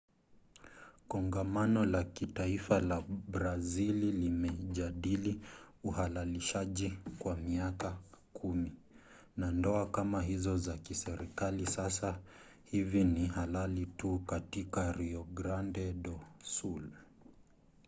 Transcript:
kongamano la kitaifa la brazili limejadili uhalalishaji kwa miaka 10 na ndoa kama hizo za kiserikali sasa hivi ni halali tu katika rio grande do sul